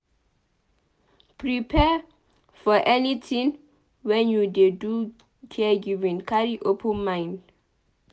Prepare for anything when you dey do caregiving carry open mind